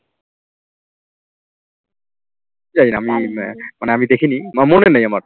আমি দেখিনি বা মনে নেই আমার